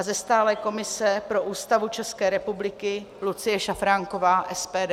A ze stálé komise pro Ústavu České republiky Lucie Šafránková - SPD;